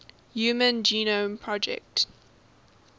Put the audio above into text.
human genome project